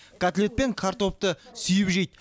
котлет пен картопты сүйіп жейді